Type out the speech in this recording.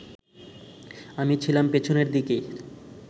আমি ছিলাম পেছনের দিকের